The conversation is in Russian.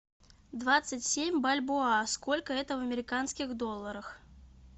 двадцать семь бальбоа сколько это в американских долларах